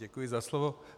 Děkuji za slovo.